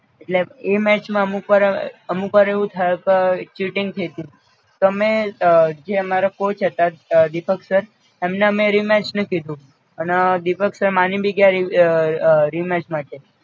એટલે match માં અમુક્વાર અ અમુક્વાર એવું થયું કે ચીટિંગ થઈતી, તો અમે જે અમારા કોચ હતા દીપકસર એમને અમે rematch નું કીધું અને દીપકસર માની ભી ગ્યાં રી અ અ rematch માટે